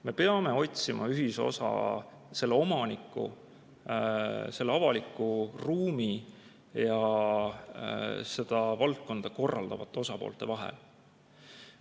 Me peame otsima ühisosa omaniku, avaliku ruumi ja valdkonda korraldavate osapoolte vahel.